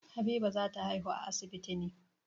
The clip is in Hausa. Habiba za ta haihu a asibiti ne.